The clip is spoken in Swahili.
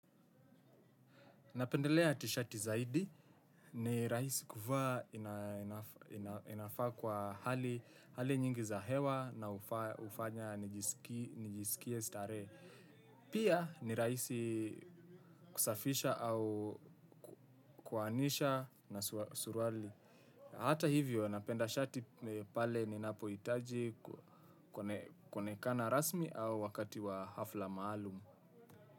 Napendelea tishati zaidi ni rahisi kuvaa. Inafaa kwa hali nyingi za hewa na hufanya nijisikie starehe. Pia ni rahisi kusafisha au kuoanisha na suruali. Hata hivyo napenda shati pale ninapohitaji kuonekana rasmi au wakati wa hafla maalum.